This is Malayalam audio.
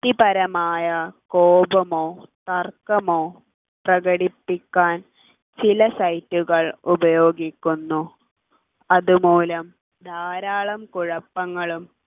വ്യക്തിപരമായ കോപമോ തർക്കമോ പ്രകടിപ്പിക്കാൻ ചില site കൾ ഉപയോഗിക്കുന്നു അതുമൂലം ധാരാളം കുഴപ്പങ്ങളും